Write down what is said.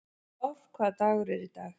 Vár, hvaða dagur er í dag?